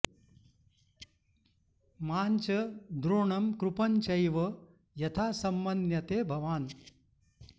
मां च द्रोणं कृपं चैव यथा संमन्यते भवान्